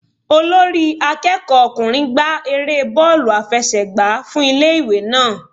Olórí akẹ́kọ̀ọ́ ọkùnrin gba erée bóòlù àfẹsẹ̀gbá fún ilé ìwé náà.